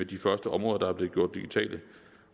de første områder der er blevet gjort digitale